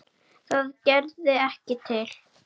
Það gerði ekki til.